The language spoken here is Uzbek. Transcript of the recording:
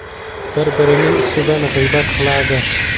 Bir-birining ustidan g‘iybat qiladi.